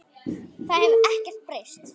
Það hefur ekkert breyst.